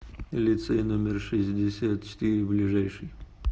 лицей номер шестьдесят четыре ближайший